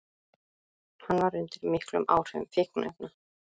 Hann var undir miklum áhrifum fíkniefna